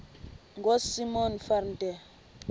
ngosimon van der